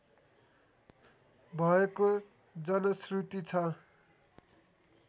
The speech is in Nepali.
भएको जनश्रुति छ